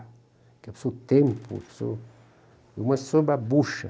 Eu sou tempo, eu sou